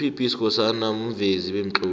up b skhosana muvezi bemtloli